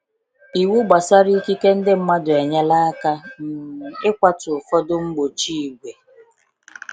Iwu gbasara ikike ndị mmadụ enyela aka um ịkwatu ụfọdụ mgbochi ìgwè.